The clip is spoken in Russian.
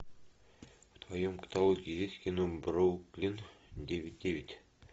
в твоем каталоге есть кино бруклин девять девять